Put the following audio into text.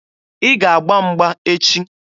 Ị ga-agba mgba echi!